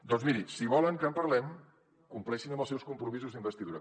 doncs miri si volen que en parlem compleixin amb els seus compromisos d’investidura